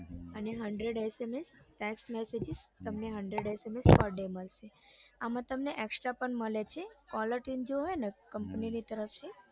અને hundred SMS text messages તમને hundred SMS per day મળશે આમ તમને extra પણ મળે છે collar tune જોઈએ ને company ની તરફથી